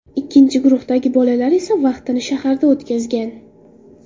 Ikkinchi guruhdagi bolalar esa vaqtini shaharda o‘tkazgan.